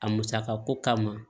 A musakako kama